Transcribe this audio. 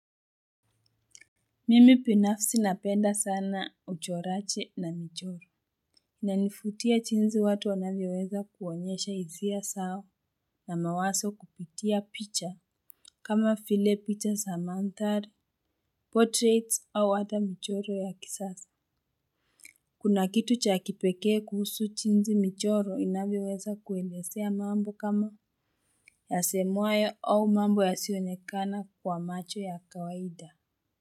Mimi binafsi napenda sana uchoraji na michoro. Inanifutia jinsi watu wanavyoweza kuonyesha hisia zao na mawaso kupitia picha. Kama file picha za mandhari Portraits au hata michoro ya kisasa. Kuna kitu cha kipekee kuhusu jinsi michoro inavyoweza kuelezea mambo kama yasemwayo au mambo yasionekana kwa macho ya kawaida Muzika.